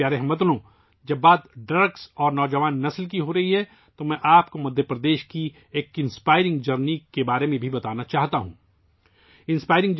میرے پیارے ہم وطنو، منشیات اور نوجوان نسل کے بارے میں بات کرتے ہوئے، میں آپ کو مدھیہ پردیش کے ایک متاثر کن سفر کے بارے میں بھی بتانا چاہوں گا